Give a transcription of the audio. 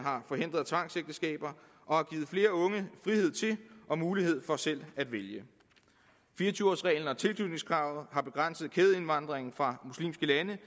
har forhindret tvangsægteskaber og har givet flere unge frihed til og mulighed for selv at vælge fire og tyve års reglen og tilknytningskravet har begrænset kædeindvandringen fra muslimske lande